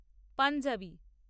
panjabi